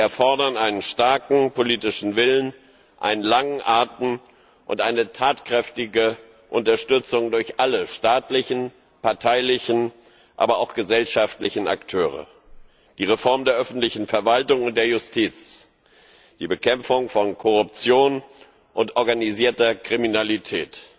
Sie erfordern einen starken politischen Willen, einen langen Atem und eine tatkräftige Unterstützung durch alle staatlichen, parteilichen, aber auch gesellschaftlichen Akteure die Reform der öffentlichen Verwaltung und der Justiz, die Bekämpfung von Korruption und organisierter Kriminalität